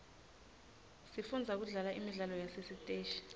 sifundza kudlala imidlalo yasesiteji